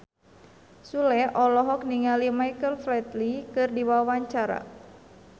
Sule olohok ningali Michael Flatley keur diwawancara